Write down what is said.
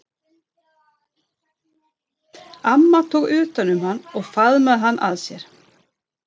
Amma tók utan um hann og faðmaði hann að sér.